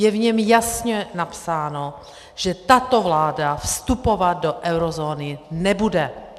Je v něm jasně napsáno, že tato vláda vstupovat do eurozóny nebude.